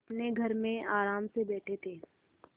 अपने घर में आराम से बैठे थे